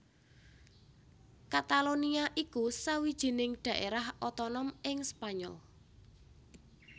Katalonia iku sawijining dhaérah otonom ing Spanyol